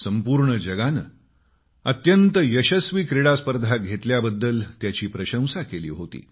संपूर्ण जगानं अत्यंत यशस्वी क्रीडास्पर्धा घेतल्याबद्दल त्याची प्रशंसा केली होती